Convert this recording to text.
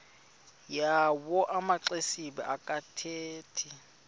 yawo amaxesibe akathethi